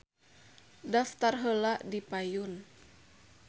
Daftar heula di payun